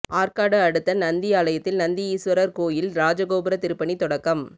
ஆற்காடு அடுத்த நந்தியாலத்தில் நந்தி ஈஸ்வரர் கோயில் ராஜகோபுர திருப்பணி தொடக்கம்